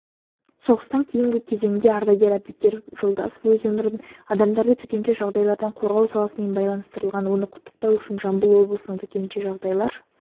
соғыстан кейінгі кезеңде ардагер әбдікерім жолдасов өз өмірін адамдарды төтенше жағдайлардан қорғау саласымен байланыстырған оны құттықтау үшін жамбыл облысының төтенше жағдайлар